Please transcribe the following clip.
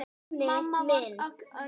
Mamma varð öll önnur.